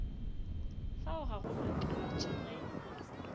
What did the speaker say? fao ga go makatše ge